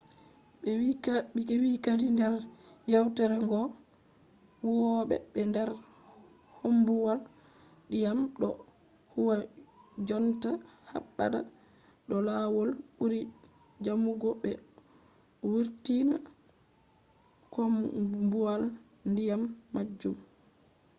be vi kadi nder yewtore goo ‘’huwobe der koombuwal-diyam do huwa jonta habda do lawol buri jamugo be vurtina koombuwal-diyam majum